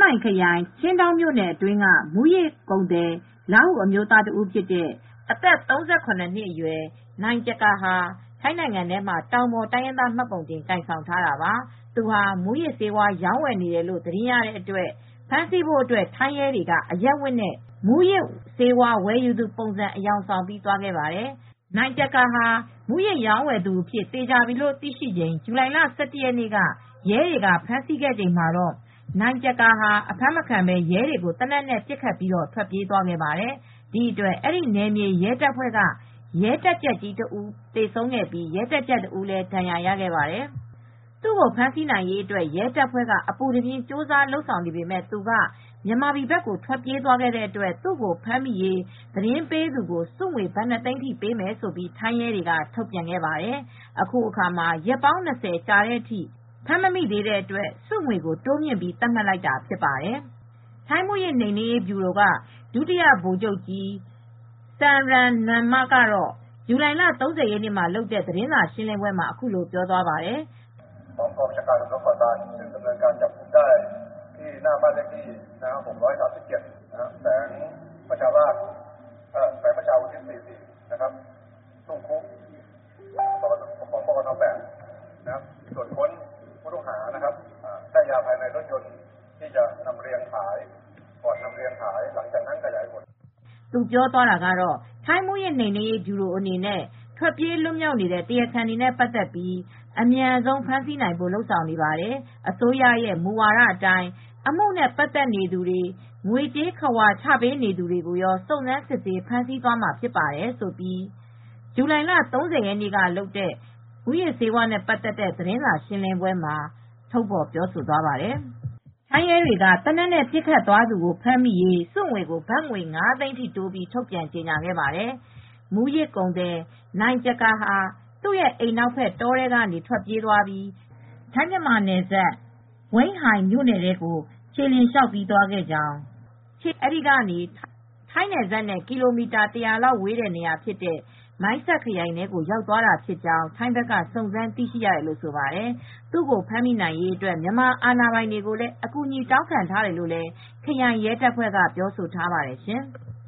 မိုင်ခရိုင်၊ ချင်းဒေါင်းမြို့နယ်အတွင်းကမူးယစ်ကုန်သည် လားဟူအမျိုးသား ၁ ဦးဖြစ်တဲ့ အသက် ၃၇နှစ်အရွယ် နိုင်ကျကာဟာ ထိုင်းနိုင်ငံထဲမှာတောင်ပေါ်တိုင်းရင်းသားမှတ်ပုံတင်ကိုင်ဆောင်ထားတာပါ။ သူဟာ မူးယစ်ဆေးဝါးရောင်းဝယ်နေတယ်လို့သတင်းရတဲ့အတွက် ဖမ်းဆီးဖို့ထိုင်းရဲတွေက အရပ်ဝတ်နဲ့ ဝယ်သူပုံစံအယောင်ဆောင်ပြီးသွားခဲ့တာပါ။ နိုင်ကျကာဟာ မူးယစ်ရောင်းဝယ်သူအဖြစ် သေချာပြီလို့သိရှိချိန် ဇူလိုင်လ ၁၁ရက်နေ့က ရဲတွေကဖမ်းဆီးခဲ့ချိန်မှာ အဖမ်းမခံဘဲ ရဲတွေကို သေနတ်နဲ့ ပစ်ခတ်ထွက်ပြေးသွားခဲ့ပါတယ်။ ဒီဖြစ်စဉ်ကြောင့် နယ်မြေ ရဲတပ်ဖွဲ့က ရဲတပ်ကြပ်ကြီး ၁ ဦး သေဆုံးပြီး ရဲတပ်ကြပ် ၁ ဦး ဒဏ်ရာရခဲ့ပါတယ်။ သူ့ကိုဖမ်းဆီးနိုင်ရေးရဲတပ်ဖွဲ့ကအပူတပြင်းကြိုးစားလုပ်ဆောင်နေပေမယ့် သူက မြန်မာပြည်ဘက်ကို ထွက်ပြေးသွားတဲ့အတွက် ဖမ်းမိရေး သတင်းပေးသူကို ဆုငွေ ဘတ် ၂သိန်းပေးမယ်လို့ ထိုင်းရဲတွေက ထုတ်ပြန်ခဲ့ပါတယ်။ အခုအခါ ရက်ပေါင်း ၂၀ လောက်ကြာတဲ့အထိ ဖမ်းမမိတဲ့အတွက်ဆုငွေကို တိုးမြှင့်သတ်မှတ်လိုက်တာဖြစ်ပါတယ် ။ ထိုင်းမူးယစ်နှိမ်နင်းရေး ဗျူရို ဒုတိယဗိုလ်ချုပ် Pol. Lt. Gen. Samran Nuanma ကတော့ ဇူလိုင် ၃၀ရက်နေ့မှာလုပ်တဲ့သတင်းစာရှင်းလင်းပွဲမှာအခုလိုပြောသွားပါတယ်။ "ထိုင်းမူးယစ် နိမ်နင်းရေး ဗျူရို အနေနဲ့ ထွက်ပြေး လွတ်မြောက်နေတဲ့ တရားခံ တွေနဲ့ပါတ်သက်ပြီး အမြန်ဆုံး ဖမ်းဆီးနိုင်ဖို့လုပ်ဆောင်နေပါတယ်။ အစိုးရရဲ့ မူဝါဒ အတိုင်း အမှုနဲ့ ပါတ်သက်နေသူတွေ ငွေ ကြေး ခဝါချ ပေးနေသူတွေကိုရော စုံစမ်းစစ်ဆေးဖမ်းဆီးမှာဖြစ်ပါတယ်" ထိုင်းရဲတွေက သေနတ်နဲ့ပစ်ခတ်သွားသူကို ဖမ်းမိရေး ဆုငွေ ကို ဘတ်ငွေ ၅သိန်းထိတိုးပြီး ထုတ်ပြန်ကြေညာခဲ့ပါတယ်။ မူးယစ်ကုန်သည် နိုင်ကျကာဟာ သူရဲ့ အိမ်နောက်ဘက် တောထဲကနေ ထွက်ပြေးပြီး ထိုင်းမြန်မာနယ်စပ် ဝိန်းဟိုင်မြို့နယ်ထဲကို ခြေလျှင်လမ်းလျောက်သွားခဲ့ကြောင်း အဲဒီကနေ ထိုင်းနယ်စပ်နဲ့ကီလိုမီတာ ၁၀၀ လောက်ရှိတဲ့နေရာဖြစ်တဲ့ မိုင်းဆတ်ခရိုင်ထဲကို ရောက်သွားတာဖြစ်ကြောင်း ထိုင်းဘက်ကစုံစမ်းသိရှိရတယ်လို့ဆိုပါတယ် ။ သူကိုဖမ်းမိရေးအတွက်မြန်မာအာဏာပိုင်တွေကိုလည်း အကူအညီတောင်းထားတယ်လို့ ခရိုင်ရဲတပ်ဖွဲ့ကပြောဆိုထားပါတယ်ရှင်။